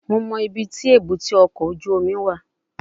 Mo mọ ibiti ebute oko oju omi wa